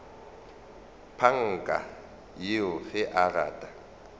panka yoo ge a rata